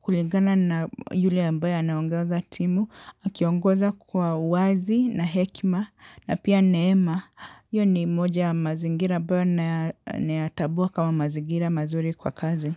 kulingana na yule ambaye anaongoza timu, akiongoza kwa wazi na hekima na pia neema, iyo ni moja mazingira ambayo nayatambua kama mazingira mazuri kwa kazi.